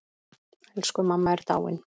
Elsku mamma er dáin.